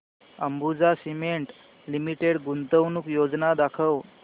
Ambuja cement limited गुंतवणूक योजना दाखव